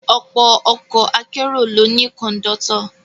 Ọ̀pọ̀ ọkọ̀ akérò ló ní Kọ̀ńdọ́tọ̀